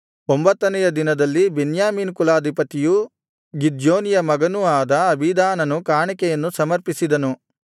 ಒಂಭತ್ತನೆಯ ದಿನದಲ್ಲಿ ಬೆನ್ಯಾಮೀನ್ ಕುಲಾಧಿಪತಿಯೂ ಗಿದ್ಯೋನಿಯ ಮಗನೂ ಆದ ಅಬೀದಾನನು ಕಾಣಿಕೆಯನ್ನು ಸಮರ್ಪಿಸಿದನು